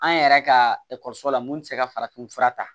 An yɛrɛ ka ekɔliso la mun tɛ se ka farafin fura ta